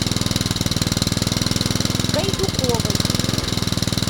гайдуковой